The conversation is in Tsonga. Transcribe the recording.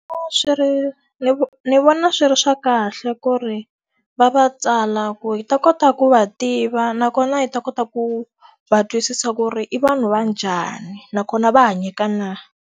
Swi ri ndzi ndzi vona swi ri swa kahle ku ri va va tsala ku hi ta kota ku va tiva nakona hi ta kota ku va twisisa ku ri i vanhu va njhani, nakona va hanyeka na.